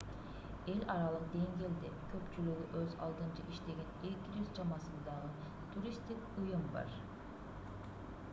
эл аралык деңгээлде көпчүлүгү өз алдынча иштеген 200 чамасындагы туристтик уюм бар